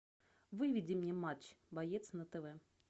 выведи мне матч боец на тв